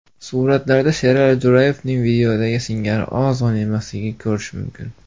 Suratlarda Sherali Jo‘rayevning videodagi singari ozg‘in emasligini ko‘rish mumkin.